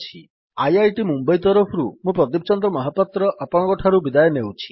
IIT Mumbai ତରଫରୁ ମୁଁ ପ୍ରଦୀପ ଚନ୍ଦ୍ର ମହାପାତ୍ର ଆପଣଙ୍କଠାରୁ ବିଦାୟ ନେଉଛି